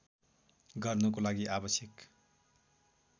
गर्नको लागि आवश्यक